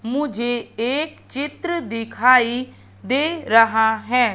मुझे एक चित्र दिखाई दे रहा है।